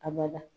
A bada